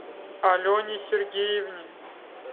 алене сергеевне